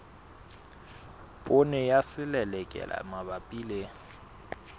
poone ya selelekela mabapi le